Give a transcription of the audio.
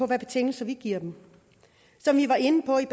betingelser vi giver dem som vi var inde på i